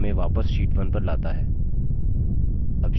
यह हमें वापस sheet 1 पर लाता है